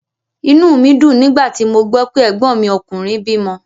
Inú mí dùn nígbà tí mo gbó pé ẹ̀gbọ́n mi ọkùnrin bímo